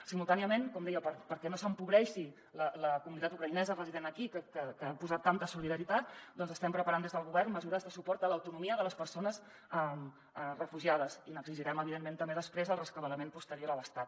simultàniament com deia perquè no s’empobreixi la comunitat ucraïnesa resident aquí que hi ha posat tanta solidaritat estem preparant des del govern mesures de suport a l’autonomia de les persones refugiades i n’exigirem evidentment també després el rescabalament posterior a l’estat